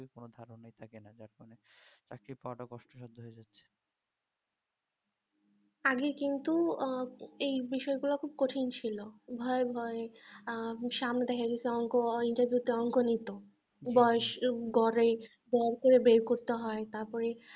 আগে কিন্তু আহ এই বিষয় গুলো খুব কঠিন ছিল ভয় ভয় আহ . interview তে অনেক নিতো বয়স গড়ে গড় করে বের করতে হয় তারপরে